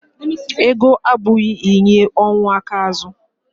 ego apụghị inye ọnwụ aka azu